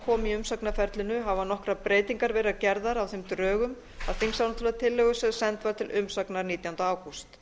komu í umsagnarferlinu hafa nokkrar breytingar verið gerðar á þeim drögum að þingsályktunartillögu sem send var til umsagnar nítjánda ágúst